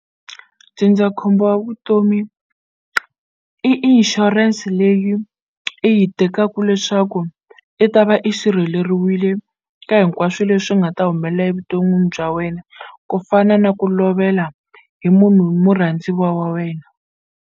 Ndzindzakhombo wa vutomi i inshurense leyi i yi tekaku leswaku i ta va i sirheleriwile ka hinkwaswo leswi nga ta humelela evuton'wini bya wena ku fana na ku lovela hi munhu hi murhandziwa wa wena.